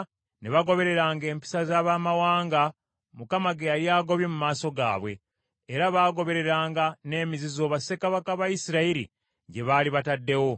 ne bagobereranga empisa za baamawanga Mukama ge yali agobye mu maaso gaabwe. Era bagobereranga n’emizizo bassekabaka ba Isirayiri gye baali bataddewo.